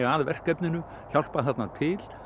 að verkefninu hjálpað þarna til